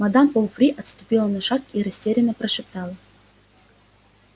мадам помфри отступила на шаг и растерянно прошептала